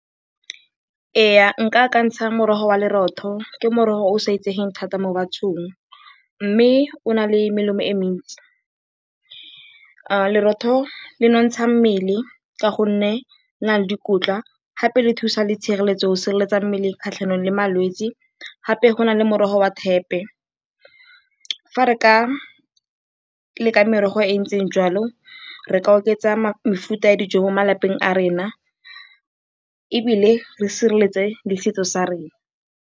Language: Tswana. Ee, nka akantsha morogo wa lerotho, ke morogo o o sa itsegeng thata mo bathong mme o na le melemo e mentsi. Lerotho le nontsha mmele ka gonne le na le dikotla gape le thusa le tshireletso go sireletsa mmele kgatlhanong le malwetsi. Gape go na le morogo wa thepe. Fa re ka leka merogo e e ntseng jalo re ka oketsa mefuta ya dijo mo malapeng a rona ebile re sireletse le setso sa rona.